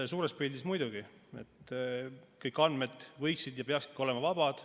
Suures pildis muidugi võiksid kõik andmed olla ja peaksidki olema vabad.